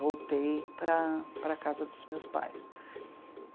Voltei para a para a casa dos meus pais.